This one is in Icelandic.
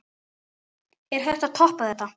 Er hægt að toppa þetta?